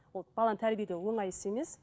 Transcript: ол баланы тәрбиелеу оңай іс емес